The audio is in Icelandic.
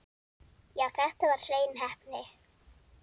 Já, þetta var hrein heppni.